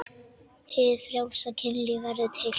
Hið frjálsa kynlíf verður til.